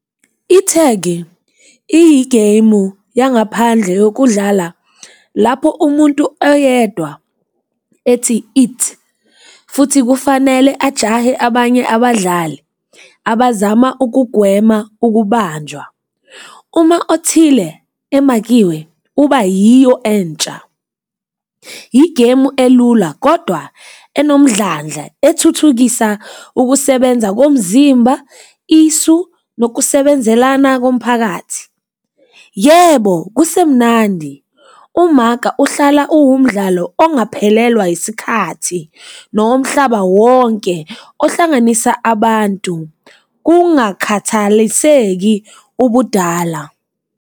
Ithegi iyigemu yangaphandle yokudlala lapho umuntu oyedwa ethi, it. Futhi kufanele ajahe abanye abadlali abazama ukugwema ukubanjwa. Uma othile emakiwe uba yiyo entsha. Igemu elula kodwa enomdlandla ethuthukisa ukusebenza komzimba, isu lokusebenzelana komphakathi. Yebo, kusemnandi. Umaka uhlala uwumdlalo ongaphelelwa isikhathi nowomhlaba wonke ohlanganisa abantu kungakhathaliseki ubudala.